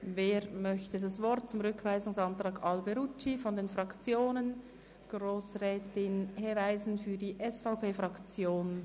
Grossrätin Hebeisen-Christen startet den Reigen für die SVP-Fraktion.